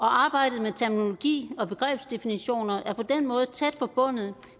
arbejdet med terminologi og begrebsdefinitioner er på den måde tæt forbundet